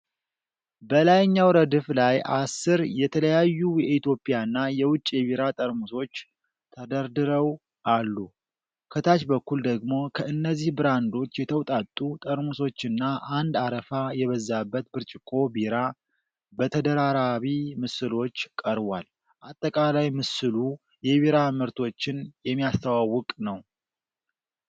በላይኛው ረድፍ ላይ አሥር የተለያዩ የኢትዮጵያና የውጭ የቢራ ጠርሙሶች ተደርድረው አሉ። ከታች በኩል ደግሞ ከእነዚህ ብራንዶች የተውጣጡ ጠርሙሶችና አንድ አረፋ የበዛበት ብርጭቆ ቢራ በተደራራቢ ምስሎች ቀርቧል። አጠቃላይ ምስሉ የቢራ ምርቶችን የሚያስተዋውቅ ነው።